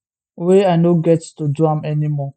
wia i no get to do am anymore